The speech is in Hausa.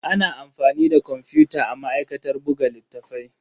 Ana amfani da kwamfuta a ma'aikatar buga littattafai.